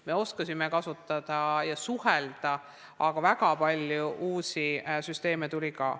Me oskasime neid kasutada ja suhelda, aga väga palju uusi süsteeme tuli ka.